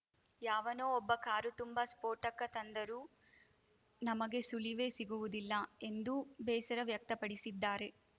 ಯಾವನೋ ಒಬ್ಬ ಕಾರು ತುಂಬಾ ಸ್ಫೋಟಕ ತಂದರೂ ನಮಗೆ ಸುಳಿವೇ ಸಿಗುವುದಿಲ್ಲ ಎಂದು ಬೇಸರ ವ್ಯಕ್ತಪಡಿಸಿದ್ದಾರೆ